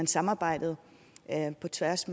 samarbejdet på tværs